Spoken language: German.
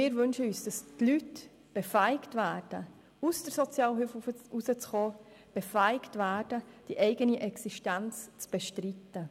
Wir wünschen uns, dass die Leute befähigt werden, aus der Sozialhilfe rauszukommen und ihre eigene Existenz zu bestreiten.